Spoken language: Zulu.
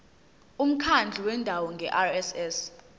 umkhandlu wendawo ngerss